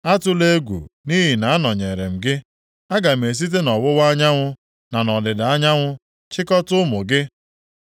Atụla egwu nʼihi na anọnyeere m gị. Aga m esite nʼọwụwa anyanwụ na nʼọdịda anyanwụ chịkọtaa ụmụ gị.